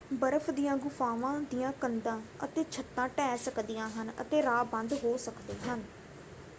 ਬਰਫ਼ ਦੀਆਂ ਗੁਫ਼ਾਵਾਂ ਦੀਆਂ ਕੰਧਾਂ ਅਤੇ ਛੱਤਾਂ ਢਹਿ ਸਕਦੀਆਂ ਹਨ ਅਤੇ ਰਾਹ ਬੰਦ ਹੋ ਸਕਦੇ ਹਨ।